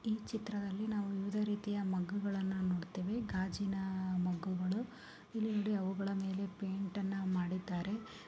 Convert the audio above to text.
ಈ ಚಿತ್ರದಲ್ಲಿ ನಾವು ವಿವಿಧ ರೀತಿಯ ಮಗ್ಗು ಗಳನ್ನ ನೋಡತ್ತೆವೆ ಗಾಜಿನ ಮಗ್ಗು ಗಳು ಇಲ್ಲಿ ನೋಡಿ ಅವುಗಳ ಮೇಲೆ ಪೈಂಟ್ ಅನ್ನ ಮಾಡಿದ್ದಾರೆ .